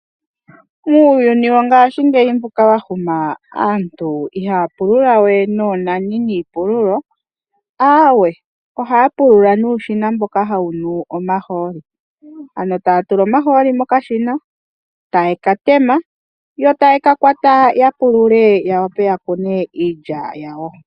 Muuyuni wongashingeyi aantu ya huma iha ya pulula we noonani niipululo. Aawe oha ya pulula nuushina mboka hawu nu omahooli. Ano taya tula omahooli mokashina etaye ka tema yo taye kakwata ya pulule ya vule ya kune iilya yawo.